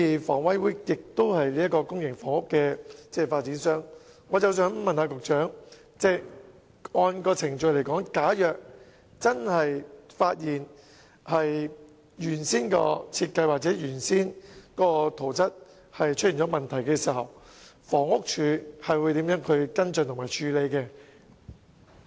房委會是公營房屋的發展商，我想問局長，按照程序，假如真的發現原本的設計或圖則出現問題，房屋署會如何跟進和處理？